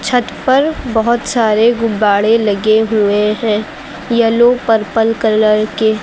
छत पर बहुत सारे गुब्बारे लगे हुए हैं येलो पर्पल कलर के।